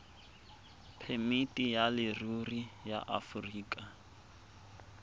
phemiti ya leruri ya aforika